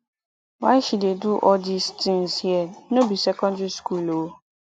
why she dey do all dis things here no be secondary school ooo